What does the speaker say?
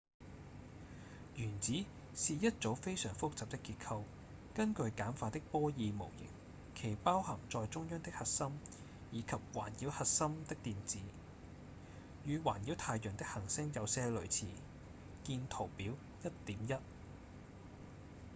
原子是一組非常複雜的結構根據簡化的波爾模型其包含在中央的核心以及環繞核心的電子與環繞太陽的行星有些類似見圖表 1.1